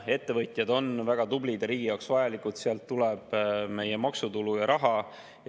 Ettevõtjad on väga tublid ja riigi jaoks vajalikud, sealt tuleb meie maksutulu ja raha.